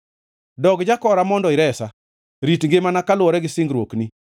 Dog jakora mondo iresa, rit ngimana kaluwore gi singruokni.